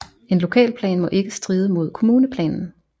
En lokalplan må ikke stride mod kommuneplanen